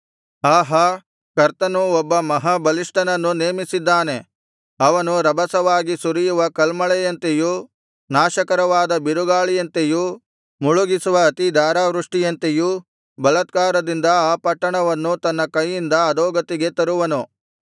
ಆಹಾ ಕರ್ತನು ಒಬ್ಬ ಮಹಾಬಲಿಷ್ಠನನ್ನು ನೇಮಿಸಿದ್ದಾನೆ ಅವನು ರಭಸವಾಗಿ ಸುರಿಯುವ ಕಲ್ಮಳೆಯಂತೆಯೂ ನಾಶಕರವಾದ ಬಿರುಗಾಳಿಯಂತೆಯೂ ಮುಳುಗಿಸುವ ಅತಿಧಾರಾವೃಷ್ಟಿಯಂತೆಯೂ ಬಲಾತ್ಕಾರದಿಂದ ಆ ಪಟ್ಟಣವನ್ನು ತನ್ನ ಕೈಯಿಂದ ಅಧೋಗತಿಗೆ ತರುವನು